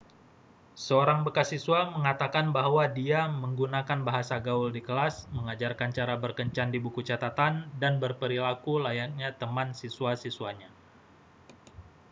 seorang bekas siswa mengatakan bahwa dia 'menggunakan bahasa gaul di kelas mengajarkan cara berkencan di buku catatan dan berperilaku layaknya teman siswa-siswanya.'